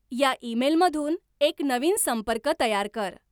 या ईमेलमधून एक नवीन संपर्क तयार कर.